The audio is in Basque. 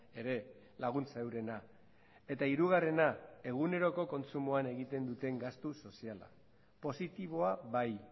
ere laguntza eurena eta hirugarrena eguneroko kontsumoan egiten duten gastu soziala positiboa bai